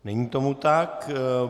Není tomu tak.